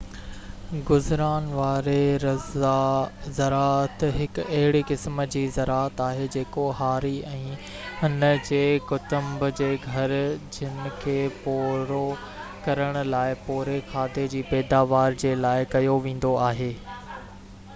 گذران واري زراعت هڪ اهڙي قسم جي زراعت آهي جيڪو هاري ۽ هن جي ڪٽنب جي گهرجن کي پورو ڪرڻ لاءِ پوري کاڌي جي پيداوار جي لاءِ ڪيو ويندو آهي